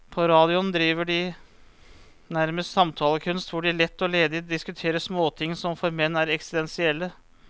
På radioen driver de nærmest samtalekunst, hvor de lett og ledig diskuterer småting som for menn er eksistensielle.